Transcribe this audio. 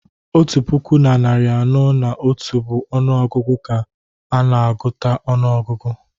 Otu puku na narị anọ na otu bụ ọnụ ọgụgụ ka a na-agụta ọnụọgụgụ